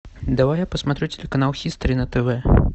давай я посмотрю телеканал хистори на тв